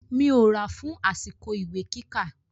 Mi ò ra fun àsìkò ìwé kíkà.